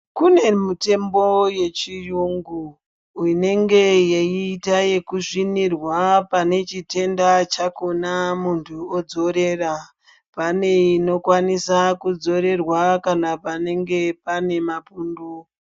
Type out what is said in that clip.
Kune mitombo yechiyungu inenge yeiita ekusvinirwa pane chitenda chakhona muntu odzorera. Pane inokwanisa kudzorerwa kana panenge pane mapundu.